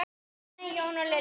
Fanney, Jón og Lilja.